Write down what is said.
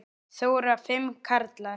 Þóra: Fimm karlar?